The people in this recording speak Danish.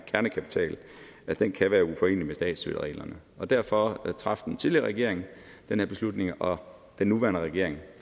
at den kan være uforenelig med statsstøttereglerne og derfor traf den tidligere regering den her beslutning og den nuværende regering